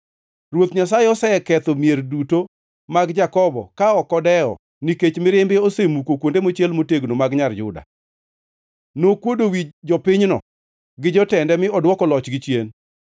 Ruoth Nyasaye oseketho mier duto mag Jakobo ka ok odewo; nikech mirimbe osemuko kuonde mochiel motegno mag Nyar Juda. Nokuodo wi jopinyno gi jotende mi odwoko lochgi chien.